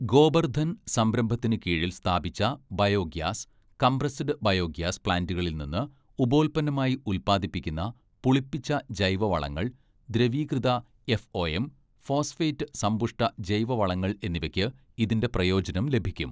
ഗോബർധൻ സംരംഭത്തിനുകീഴിൽ സ്ഥാപിച്ച bio gas compressed biogas പ്ലാന്റുകളിൽനിന്ന് ഉപോൽപ്പന്നമായി ഉൽപ്പാദിപ്പിക്കുന്ന പുളിപ്പിച്ച ജൈവ വളങ്ങൾ, ദ്രവീകൃത എഫ്ഒഎം, ഫോസ്ഫേറ്റ് സമ്പുഷ്ട ജൈവ വളങ്ങൾ എന്നിവയ്ക്ക് ഇതിന്റെ പ്രയോജനം ലഭിക്കും.